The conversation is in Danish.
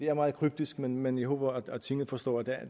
er meget kryptisk men men jeg håber at tinget forstår at der